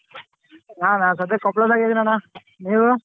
ನಾನ ಸದ್ಯಕ್ ಕೊಪ್ಪಳ್ದಗ್ ಇದೀನಿ ಅಣ್ಣ, ನೀವೂ?